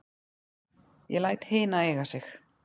Ég læt hina eiga sig.